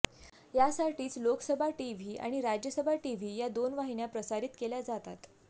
यासाठीच लोकसभा टीव्ही आणि राज्यसभा टीव्ही या दोन वाहिन्या प्रसारित केल्या जातात